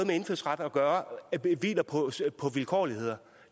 med indfødsret at gøre hviler på vilkårligheder